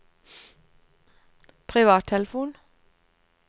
privattelefon